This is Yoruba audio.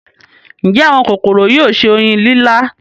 ǹjẹ́ àwọn kòkòrò yóò se oyin lílá.